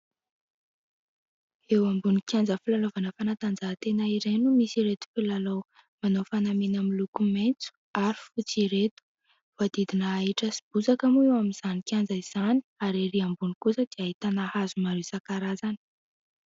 Eo ambony kianja filalaovana fanatanjahantena iray no misy ireto mpilalao manao fanamiana miloko maitso ary fotsy ireto. Voadidina ahitra sy bozaka moa eo amin'izany kianja izany ary ery ambony kosa dia ahitana hazo maro isankarazany.